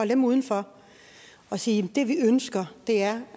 dem udenfor og sige at det vi ønsker er